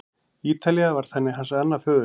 Ítalía varð þannig hans annað föðurland.